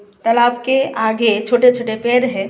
तालाब के आगे छोटे छोटे पेड़ है।